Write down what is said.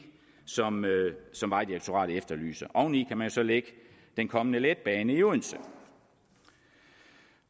som vejdirektoratet efterlyser oveni kan man så lægge den kommende letbane i odense